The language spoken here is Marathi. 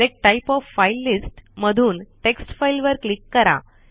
select type of file list मधून टेक्स्ट फाइल वर क्लीक करा